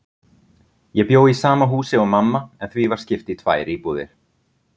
Ég bjó í sama húsi og mamma, en því var skipt í tvær íbúðir.